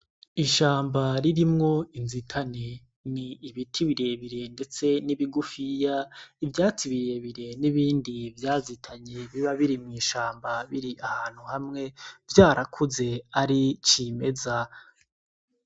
Ishamba ririmwo inzitane ni ibiti biriebire, ndetse n'ibigufiya ivyatsi birirebire n'ibindi vyazitanye biba biri mw'ishamba biri ahantu hamwe vyarakuze ari c'imeza.